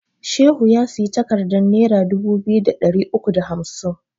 Shehu ya siyi takardan nera dubu biyu da ɗari uku da hamsin